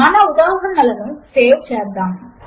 మన ఉదాహరణలను సేవ్ చేద్దాము